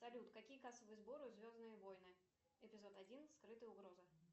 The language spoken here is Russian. салют какие кассовые сборы у звездные войны эпизод один скрытая угроза